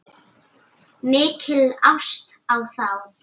Mikil ást á þá.